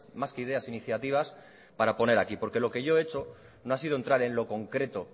más que ideas iniciativas para poner aquí porque lo que yo he hecho no ha sido entrar en lo concreto